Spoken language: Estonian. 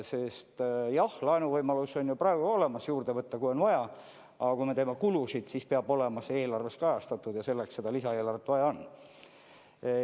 Sest jah, laenuvõimalus on ju praegu ka olemas, saame juurde võtta, kui on vaja, aga kui me teeme kulusid, siis peab see olema eelarves kajastatud ja selleks seda lisaeelarvet vaja ongi.